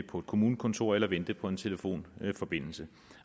på et kommunekontor eller vente på en telefonforbindelse